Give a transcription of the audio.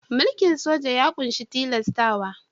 Mulkin soja ya ƙunshi tilastawa.